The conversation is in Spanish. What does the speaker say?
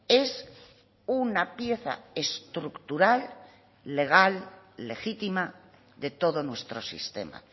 es una pieza estructural legal legítima de todo nuestro sistema